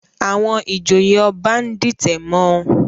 Àwọn ìjòyè Ọba ń dìtẹ̀ mọ́ ọn